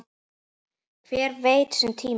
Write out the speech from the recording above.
Hver veit sinn tíma?